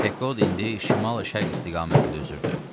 Pekod indi şimal-şərq istiqamətində üzürdü.